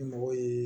Ni mɔgɔ ye